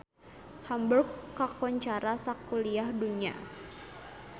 Hamburg kakoncara sakuliah dunya